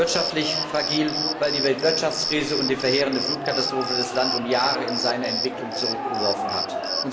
Wirtschaftlich fragil, weil die Weltwirtschaftskrise und die verheerende Flutkatastrophe das Land in seiner Entwicklung um Jahre zurückgeworfen haben.